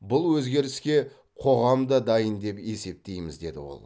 бұл өзгеріске қоғам да дайын деп есептейміз деді ол